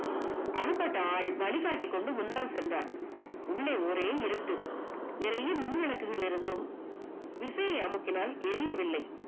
அகப்பட்ட ஆள் வழிகாட்டிக் கொண்டு முன்னாள் சென்றான் உள்ளே ஒரே இருட்டு அறையில் மின்விளக்குகள் இருந்தும் விசை அமுக்கினால் எரியவில்லை